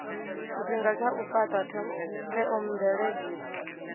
tshifhinga tsha u fhata theomveledziso